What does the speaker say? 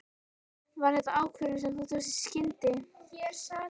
Var þetta ákvörðun sem þú tókst í skyndi?